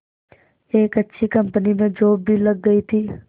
एक अच्छी कंपनी में जॉब भी लग गई थी